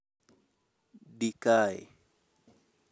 di kae